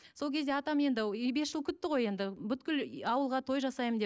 сол кезде атам енді бес жыл күтті ғой енді бүкіл ауылға той жасаймын деп